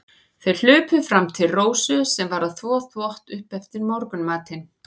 Þeir hlupu fram til Rósu, sem var að þvo upp eftir morgunmatinn.